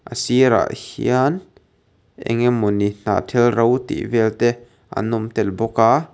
sirah hian engemawni hnahthel ro tih vel te an awm tel bawka.